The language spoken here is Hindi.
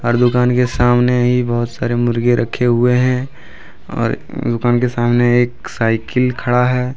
और दुकान के सामने ही बहोत सारे मुर्गे रखे हुए है और दुकान के सामने एक साइकिल खड़ा है।